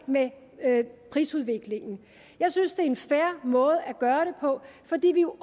med prisudviklingen jeg synes det er en fair måde at gøre det på fordi